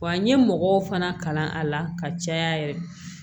Wa n ye mɔgɔw fana kalan a la ka caya yɛrɛ